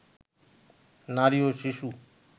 নারী ও শিশু